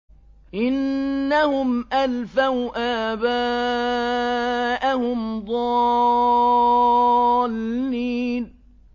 إِنَّهُمْ أَلْفَوْا آبَاءَهُمْ ضَالِّينَ